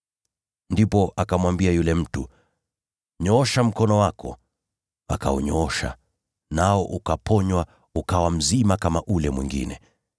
Ndipo akamwambia yule mtu, “Nyoosha mkono wako.” Akaunyoosha, nao ukaponywa ukawa mzima kama ule mwingine.